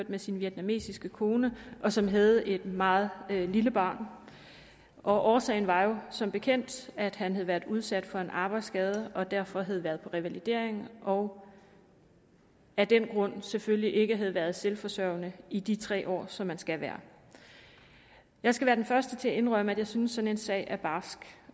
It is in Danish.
med sin vietnamesiske kone og som havde et meget lille barn årsagen var jo som bekendt at han havde været udsat for en arbejdsskade og derfor havde været på revalidering og af den grund selvfølgelig ikke havde været selvforsørgende i de tre år som man skal være jeg skal være den første til at indrømme at jeg synes at sådan en sag er barsk